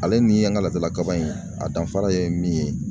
Ale ni an ka laadala kaba in a danfara ye min ye